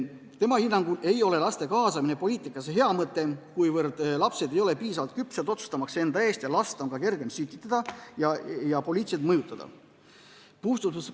Tema hinnangul ei ole laste kaasamine poliitikasse hea mõte, kuivõrd lapsed ei ole piisavalt küpsed otsustamaks enda eest, last on ka kergem sütitada ja poliitiliselt mõjutada.